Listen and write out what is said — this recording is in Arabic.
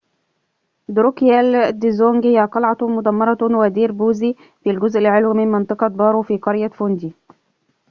دروكيال دزونج هي قلعةٌ مُدَمّرةٌ ودير بوذي في الجزء العلوي من منطقة بارو في قرية فوندي